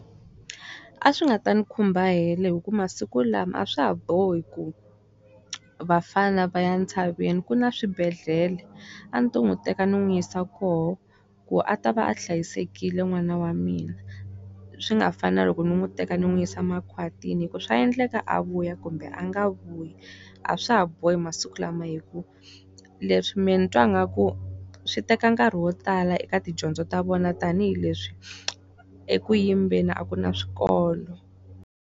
A swi nga ta ni khumba helo hikuva masiku lama a swa ha bohi ku vafana va ya ntshaveni ku na swibedhlele. A ndzi ta n'wi teka ndzi n'wi yisa koho, ku a ta va a hlayisekile n'wana wa mina. Swi nga fani na loko ni n'wi teka ni n'wi yisa makhwatini hikuva swa endleka a vuya kumbe a nga vuyi. A swa ha bohi masiku lama hikuva, leswi mina ni twa nga ku swi teka nkarhi wo tala eka tidyondzo ta vona tanihileswi eku yimbeni a ku na swikolo.